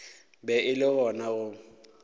be e le gona go